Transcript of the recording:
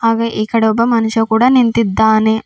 ಹಾಗೆ ಈ ಕಡೆ ಒಬ್ಬ ಮನುಷ್ಯ ಕೂಡ ನಿಂತಿದ್ದಾನೆ.